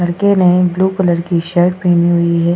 लड़के ने blue colour की शर्ट पहनी हुई है।